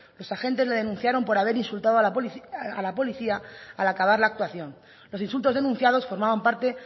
los agentes le denunciaron por haber insultado a la policía al acabar la actuación los insultos denunciados formaban parte